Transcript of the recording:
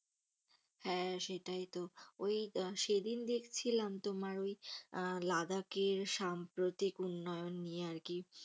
হ্যাঁ সেটাই তো, ওই সেদিন দেখছিলাম তোমার ওই লাদাখের সাম্প্রতিক উন্নয়ন নিয়ে আরকি।